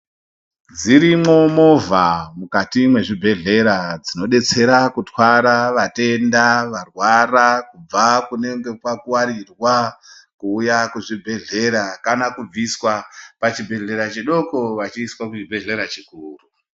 Dzirimwo movha mukati mwezvibhedhlera dzinobetsera kutwara vatenda varwara kubva kunenge kwa kwarirwa kuuya kuzvibhedhelera kana kubviswa pachibhedhlera chidoko vachiiswa kuchibhedhlera chikuru.